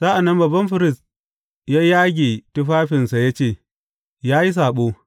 Sa’an nan babban firist ya yage tufafinsa ya ce, Ya yi saɓo!